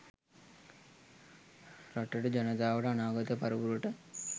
රටට ජනතාවට අනාගත පරපුරට